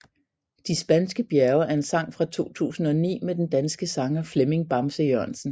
De Spanske Bjerge er en sang fra 2009 med den danske sanger Flemming Bamse Jørgensen